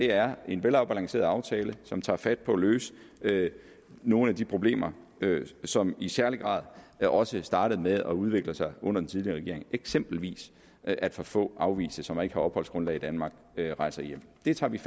er en velafbalanceret aftale som tager fat på at løse nogle af de problemer som i særlig grad også startede med at udvikle sig under den tidligere regering eksempelvis at for få afviste som ikke har opholdsgrundlag i danmark rejser hjem det tager vi